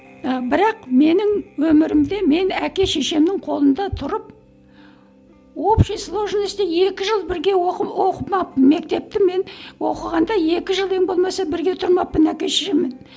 ііі бірақ менің өмірімде мен әке шешемнің қолында тұрып общий сложности екі жыл бірге оқымаппын мектепті мен оқығанда екі жыл ең болмаса бірге тұрмаппын әке шешеммен